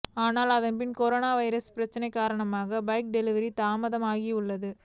ஆனால் அதன்பின் corona virus பிரச்னை காரணமாக பைக் டெலிவரி தாமதமாகியுள்ளது